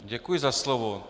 Děkuji za slovo.